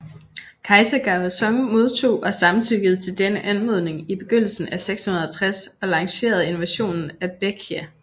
Kejser Gaozong modtog og samtykkede til denne anmodning i begyndelsen af 660 og lancerede invasionen af Baekje